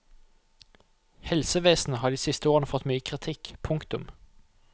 Helsevesenet har de siste årene fått mye kritikk. punktum